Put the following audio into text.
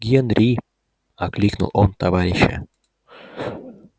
генри окликнул он товарища